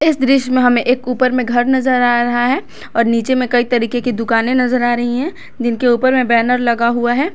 इस दृश्य में हम एक ऊपर में घर नजर आ रहा है और नीचे में कई तरीके की दुकान नजर आ रही है जिनके ऊपर में बैनर लगा हुआ है।